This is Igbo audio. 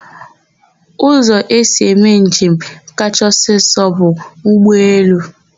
Ụzọ esi eme njem kacha ọsịsọ bụ ụgbọelu.